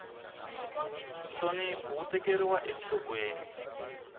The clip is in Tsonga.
nhlonipho wu tekeriwa enhlokweni